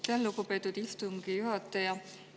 Aitäh, lugupeetud istungi juhataja!